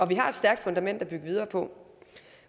vi har et stærkt fundament at bygge videre på